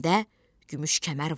belimdə gümüş kəmər vardı.